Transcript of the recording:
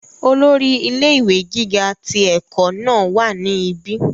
olórí ilé ìwé gíga ti ẹ̀kọ́ náà wà ní ibi